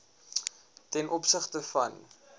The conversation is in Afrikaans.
ten opsigte van